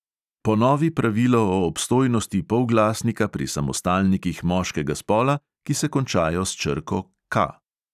Ponovi pravilo o obstojnosti polglasnika pri samostalnikih moškega spola, ki se končajo s črko K.